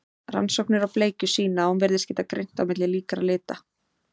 Rannsóknir á bleikju sýna að hún virðist geta greint á milli líkra lita.